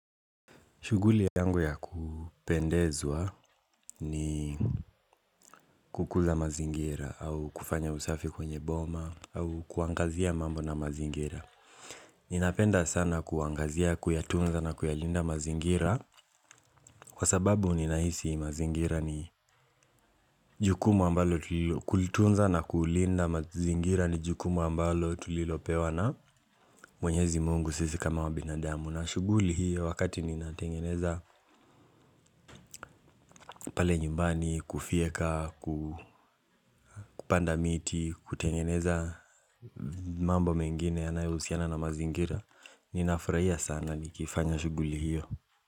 Shughuli yangu ya kupendezwa ni kukuza mazingira au kufanya usafi kwenye boma au kuangazia mambo na mazingira Ninapenda sana kuangazia, kuyatunza na kuyalinda mazingira Kwa sababu ninahisi mazingira ni ni jukumu ambalo tulilopewa na mwenyezi mungu sisi kama wabinadamu. Na shughuli hiyo wakati ninatengeneza pale nyumbani, kufyeka, kupanda miti, kutengeneza mambo mengine yanayohusiana na mazingira. Ninafurahia sana nikifanya shughuli hiyo.